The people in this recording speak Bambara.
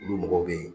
Olu mɔgɔw bɛ yen